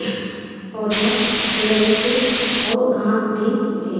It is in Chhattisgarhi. पौधा लगी से और घास भी है।